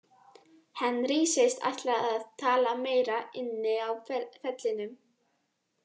Henry segist ætla að tala meira inni á vellinum.